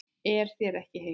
Er þér ekki heitt?